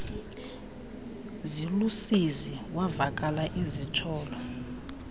zilusizi wavakala esitsholo